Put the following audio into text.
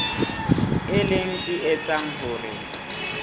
e leng se etsang hore